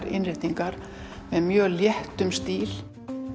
innréttingar með mjög léttum stíl